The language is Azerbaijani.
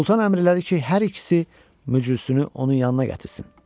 Sultan əmirlədi ki, hər ikisi möcüsünü onun yanına gətirsin.